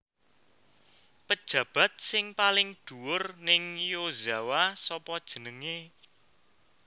Pejabat sing paling dhuwur ning Yozawa sopo jenenge